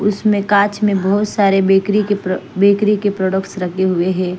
उसमें काँच में बहुत सारे बेकरी के बेकरी के प्रोडक्ट्स रखे हुए हैं।